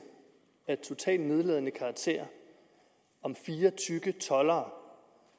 af totalt nedladende karakter om fire tykke toldere